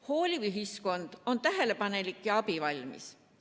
Hooliv ühiskond on tähelepanelik ja abivalmis.